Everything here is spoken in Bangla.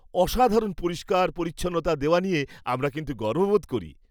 অসাধারণ পরিষ্কার পরিচ্ছন্নতা দেওয়া নিয়ে আমরা কিন্তু গর্ববোধ করি।